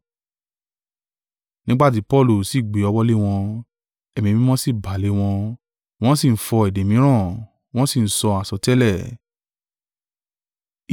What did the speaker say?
Nígbà tí Paulu sì gbé ọwọ́ lé wọn, Ẹ̀mí Mímọ́ sì bà lé wọn, wọ́n sì ń fọ́ èdè mìíràn, wọ́n sì ń sọ àsọtẹ́lẹ̀.